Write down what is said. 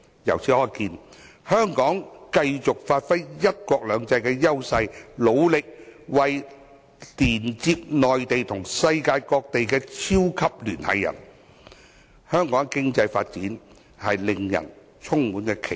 由此可見，香港只要繼續發揮"一國兩制"的優勢，努力作為連接內地與世界各地的"超級聯繫人"，香港的經濟發展令人充滿期待。